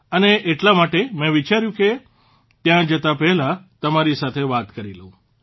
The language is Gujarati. અને એટલા માટે મેં વિચાર્યું કે ત્યાં જતાં પહેલાં તમારી સાથે વાત કરી લઉં